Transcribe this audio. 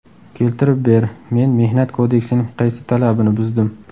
Keltirib ber, men Mehnat kodeksining qaysi talabini buzdim?